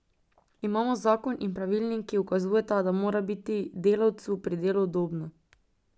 Imamo zakon in pravilnik, ki ukazujeta, da mora biti delavcu pri delu udobno.